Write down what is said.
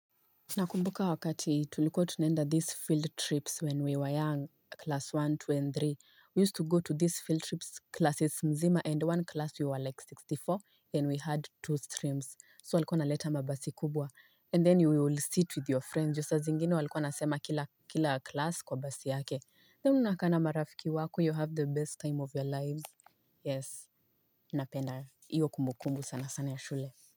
Nakumbuka wakati tulikuwa tunenda these field trips when we were young, class one, two, and three. We used to go to these field trips classes mzima and one class we were like sitini na nne and we had two streams. So walikuwa wanaleta mabasi kubwa. And then you would sit with your friends. Juu saa zingine walikuwa wanasema kila class kwa basi yake. Then unakaa na marafiki wako, you have the best time of your lives. Yes, napenda. Hiyo kumbukumbu sana sana ya shule.